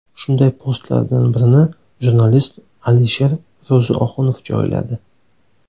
Shunday postlardan birini jurnalist Alisher Ro‘zioxunov joyladi.